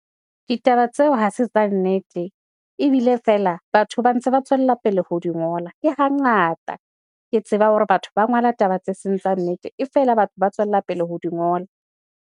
Ditaba tseo hase tsa nnete ebile fela batho ba ntse ba tswela pele ho di ngola. Ke hangata ke tseba hore batho ba ngola taba tse seng tsa nnete e fela batho ba tswella pele ho di ngola.